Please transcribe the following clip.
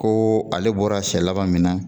Ko ale bɔra senɲɛ laban min na